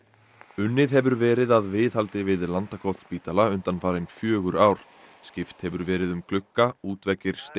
unnið hefur verið að viðhaldi við Landakotsspítala undanfarin fjögur ár skipt hefur verið um glugga útveggir